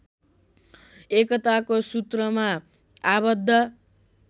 एकताको सुत्रमा आबद्ध